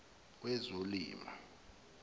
wezolimo